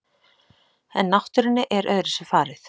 En náttúrunni er öðruvísi farið.